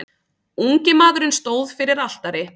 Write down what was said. Ungi maðurinn stóð fyrir altari.